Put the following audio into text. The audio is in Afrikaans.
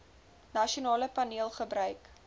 nasionale paneel gebruik